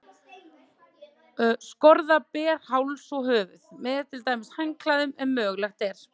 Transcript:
Skorða ber háls og höfuð, með til dæmis handklæðum, ef mögulegt er.